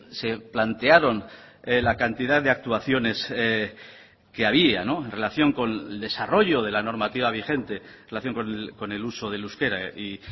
se plantearon la cantidad de actuaciones que había en relación con el desarrollo de la normativa vigente en relación con el uso del euskera y